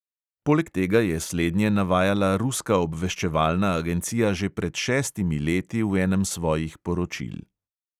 Poleg tega je slednje navajala ruska obveščevalna agencija že pred šestimi leti v enem svojih poročil.